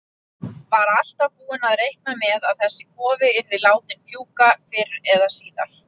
Var alltaf búinn að reikna með að þessi kofi yrði látinn fjúka fyrr eða síðar.